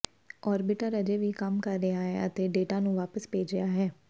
orbiter ਅਜੇ ਵੀ ਕੰਮ ਕਰ ਰਿਹਾ ਹੈ ਅਤੇ ਡੇਟਾ ਨੂੰ ਵਾਪਸ ਭੇਜ ਰਿਹਾ ਹੈ